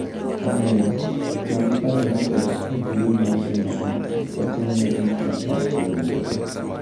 Omiyo, ne giparo ni ber ka gium nyathino mondo kik otimne gik ma ok owinjore.